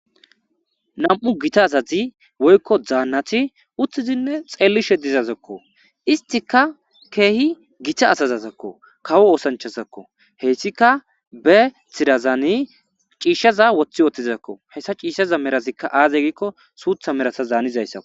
Nam,u gita azazi woykko daannati uttizinne xeellishe dizazakko istika keehi gita azazazakko kawo oosanchazakko heyssika be tirazaani ciishshaza woththi ootizakko hessa ciishshaza merazikka aaze giikko suutha merasa zaanizayssako